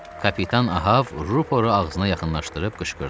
Kapitan Ahav rüporu ağzına yaxınlaşdırıb qışqırdı.